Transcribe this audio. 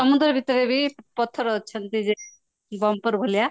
ସମୁଦ୍ର ଭୀତ ରେ ବି ପଥର ଅଛନ୍ତି ଯେ ଭଳିଆ